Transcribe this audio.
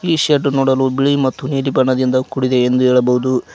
ಈ ಶೆಡ್ ನೋಡಲು ಬಿಳಿ ಮತ್ತು ನೀಲಿ ಬಣ್ಣದಿಂದ ಕೂಡಿದೆ ಎಂದು ಹೇಳಬಹುದು.